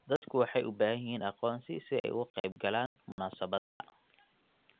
Dadku waxay u baahan yihiin aqoonsi si ay uga qaybgalaan munaasabadaha.